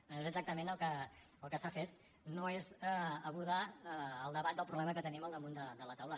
bé és exactament el que s’ha fet no és abordar el debat del problema que tenim al damunt de la taula